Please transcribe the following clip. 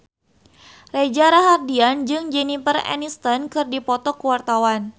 Reza Rahardian jeung Jennifer Aniston keur dipoto ku wartawan